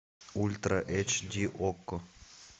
ультра эйч ди окко